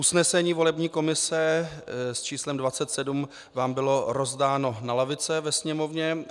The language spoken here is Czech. Usnesení volební komise s číslem 27 vám bylo rozdáno na lavice ve sněmovně.